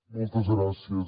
moltes gràcies